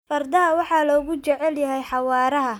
Fardaha waxaa lagu jecel yahay xawaaraha.